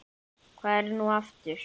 Hvað er það nú aftur?